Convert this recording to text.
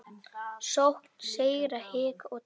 Sókn, sigrar, hik og tap.